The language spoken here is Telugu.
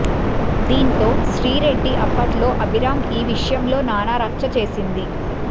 దీంతో శ్రీ రెడ్డి అప్పట్లో అభిరామ్ ఈ విషయంలో నానా రచ్చ చేసింది